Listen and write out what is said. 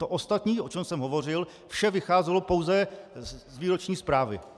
To ostatní, o čem jsem hovořil, vše vycházelo pouze z výroční zprávy.